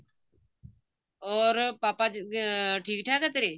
or ਪਾਪਾ ਜੀ ਠੀਕ ਠਾਕ ਐ ਤੇਰੇ